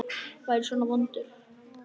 Var ég svona vondur?